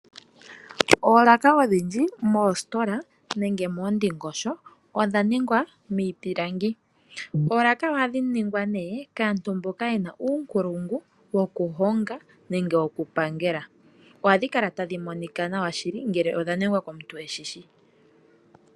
Oolaka odhindji moositola nenge moondingosho odha ningwa miipilangi. Oolaka ohadhi ningwa kaantu mboka yena uunkulungu woku honga nenge woku pangela, ohadhi kala tadhi monika nawa shili ngele odha ningwa komuntu eshishi.